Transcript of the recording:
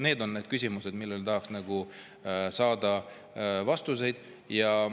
Need on küsimused, millele tahaks saada vastuseid.